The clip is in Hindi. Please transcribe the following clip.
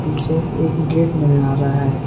पीछे एक गेट नजर आ रहा है।